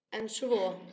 En svo?